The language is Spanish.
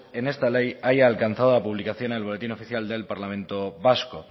en esta ley haya alcanzado la publicación en el boletín oficial del parlamento vasco